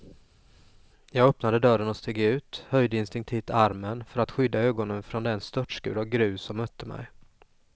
Jag öppnade dörren och steg ut, höjde instinktivt armen för att skydda ögonen från den störtskur av grus som mötte mig.